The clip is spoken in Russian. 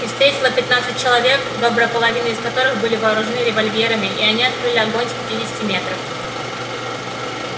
их встретило пятнадцать человек добрая половина из которых были вооружены револьверами и они открыли огонь с пятидесяти метров